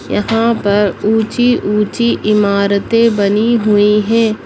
यहां पर ऊंची-ऊंची इमारतें बनी हुई है।